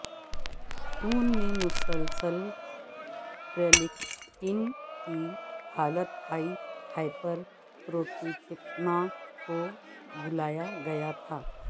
خون میں مسلسل پرلیکٹین کی حالت ہائی ہائپر پروٹیکٹیمیا کو بلایا گیا تھا